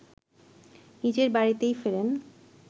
নিজের বাড়িতেই ফেরেন